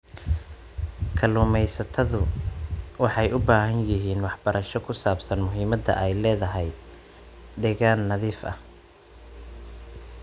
Kalluumaysatadu waxay u baahan yihiin waxbarasho ku saabsan muhiimadda ay leedahay deegaan nadiif ah.